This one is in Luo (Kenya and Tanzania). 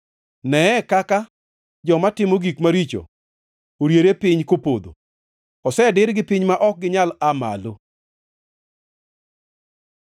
Neye kaka joma timo gik maricho oriere piny kopodho osedirgi piny ma ok ginyal aa malo!